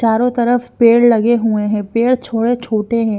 चारों तरफ पेड़ लगे हुए हैं पेड़ थोड़े छोटे हैं।